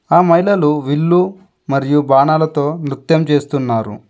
ఆ మహిళలు విల్లు మరియు బాణాలతో నృత్యం చేస్తున్నారు.